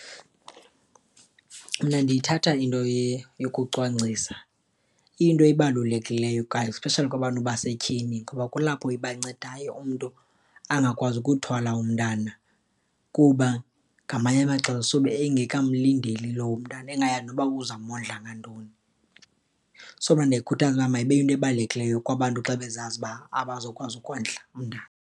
Mna ndiyithatha into yokucwangcisa iyinto ebalulekileyo, especially kwabantu basetyhini ngoba kulapho ibancedayo umntu angakwazi ukuthwala umntana. Kuba ngamanye amaxesha sube engekamlindeli lowo mntana, engayazi noba uzawumondla ngantoni. So, mna ndiyayikhuthaza mayibe yinto ebalulekileyo kwabantu xa bezazi ukuba abazokwazi ukondla umntana.